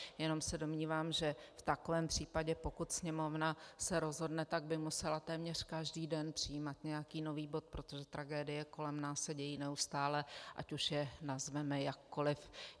Jenom se domnívám, že v takovém případě pokud Sněmovna se rozhodne, tak by musela téměř každý den přijímat nějaký nový bod, protože tragédie kolem nás se dějí neustále, ať už je nazveme jakkoli.